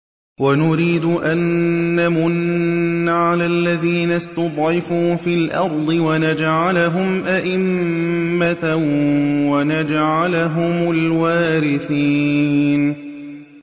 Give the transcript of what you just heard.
وَنُرِيدُ أَن نَّمُنَّ عَلَى الَّذِينَ اسْتُضْعِفُوا فِي الْأَرْضِ وَنَجْعَلَهُمْ أَئِمَّةً وَنَجْعَلَهُمُ الْوَارِثِينَ